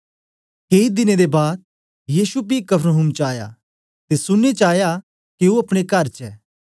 केई दिनें दे बाद यीशु पी कफरनहूम च आया ते सुनने च आया के ओ अपने कर च ऐ